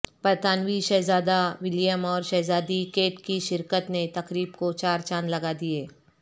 برطانوی شہزادہ ولیم اور شہزادی کیٹ کی شرکت نے تقریب کو چار چاند لگا دئیے